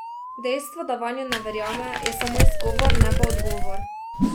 Dejstvo, da vanjo ne verjame, je samo izgovor, ne pa odgovor.